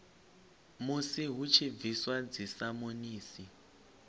musi hu tshi bviswa dzisamonisi